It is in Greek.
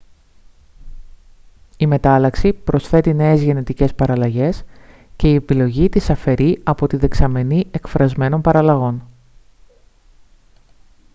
η μετάλλαξη προσθέτει νέες γενετικές παραλλαγές και η επιλογή τις αφαιρεί από τη δεξαμενή εκφρασμένων παραλλαγών